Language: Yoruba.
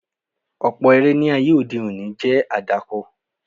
Ọ̀pọ̀ eré ní ayé òde òní jẹ́ àdàkọ.